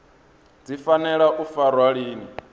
dzi fanela u farwa lini